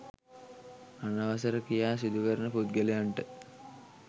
අනවසර ක්‍රියා සිදුකරන පුද්ගලයන්ට